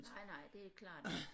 Nej nej det er klart